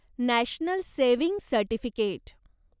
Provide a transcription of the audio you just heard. national saving certificate